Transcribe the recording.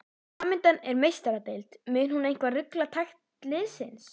Framundan er Meistaradeild, mun hún eitthvað rugla takt liðsins?